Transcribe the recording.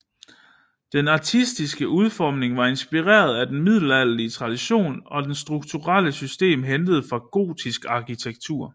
Den artistiske udformning var inspireret af den middelalderlige tradition og det strukturelle system hentet fra gotisk arkitektur